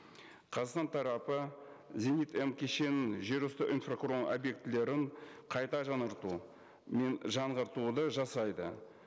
қазақстан тарапы зенит м кешенінің жер үсті инфрақұрылымы объектілерін қайта жаңарту мен жаңғыртуды жасайды